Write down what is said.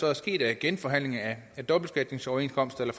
er sket af genforhandlinger af dobbeltbeskatningsoverenskomster eller